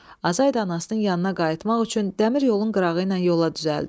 Azay da anasının yanına qayıtmaq üçün dəmir yolun qırağıyla yola düzəldi.